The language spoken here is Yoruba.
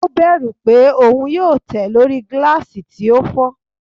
O bẹru pe oun yoo tẹ lori gilasi ti o fọ